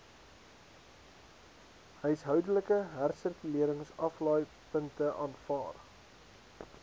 huishoudelike hersirkuleringsaflaaipunte aanvaar